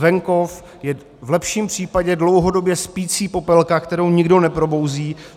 Venkov je v lepším případě dlouhodobě spící popelka, kterou nikdo neprobouzí.